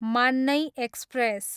मान्नै एक्सप्रेस